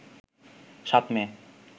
৭ মে